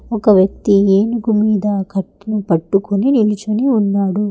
ఒక వ్యక్తి ఏనుగు మీద కట్టి పట్టుకుని నిలిచుని ఉన్నాడు.